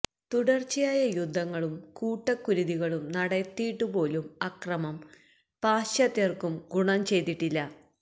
തുടര്ച്ചയായ യുദ്ധങ്ങളും കൂട്ടക്കുരുതികളും നടത്തിയിട്ടുപോലും അക്രമം പാശ്ചാത്യര്ക്കും ഗുണം ചെയ്തിട്ടില്ല